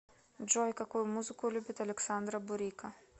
джой какую музыку любит александра бурико